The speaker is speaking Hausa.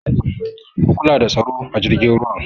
Ku kula da tsaro a jirgin ruwan!